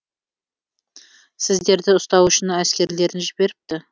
сіздерді ұстау үшін әскерлерін жіберіпті